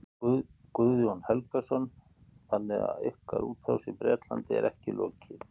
Guðjón Helgason: Þannig að ykkar útrás í Bretlandi er ekki lokið?